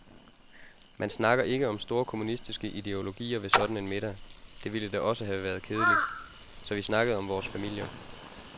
Man snakker ikke om store kommunistiske ideologier ved sådan en middag, det ville da også have været kedeligt, så vi snakkede om vores familier.